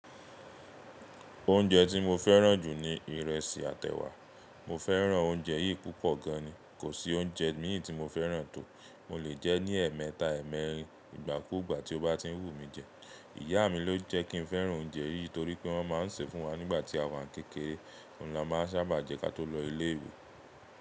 Oúnjẹ tí mo fẹ́ràn jù ni ìrẹsì àti ẹ̀wà. Mo fẹ́ràn oúnjẹ yìí púpọ̀ gan ni, kò sí oúnjẹ mì í tí mo fẹ́ràn tó. Mo lè jẹ́ ní ẹ̀ẹ̀mẹta, ẹ́ẹ̀mẹrin ìgbà kú ìgbà tí ó bá ti ń wù mí jẹ. Ìyá mi ló jẹ́ kí n fẹ́ràn oúnjẹ yìí torí pé wọ́n máa ń sè é fún wa nígbà tí àwa ń kékeré. Òun la máa sábà jẹ́ ká tó lọ ilé ìwé.